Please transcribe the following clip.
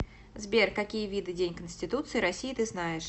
сбер какие виды день конституции россии ты знаешь